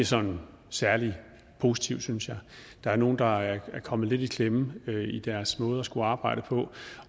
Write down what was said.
sådan særlig positiv synes jeg der er nogle der er kommet lidt i klemme i deres måde at skulle arbejde på